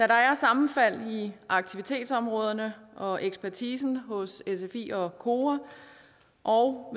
der er sammenfald i aktivitetsområderne og ekspertisen hos sfi og kora og